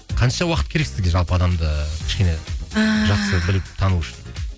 қанша уақыт керек сізге жалпы адамды кішкене жақсы біліп тану үшін